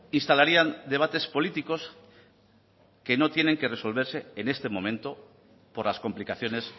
instalarían debates políticos que no tienen que resolverse en este momento por las complicaciones